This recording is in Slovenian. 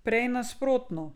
Prej nasprotno.